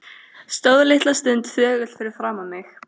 Stóð litla stund þögull fyrir framan mig.